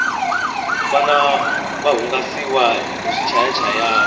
vana va hungasiwa hi swichayachayani